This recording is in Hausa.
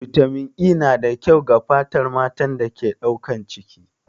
Bitamin E na da kyau ga fatar matan da ke son ɗaukan ciki.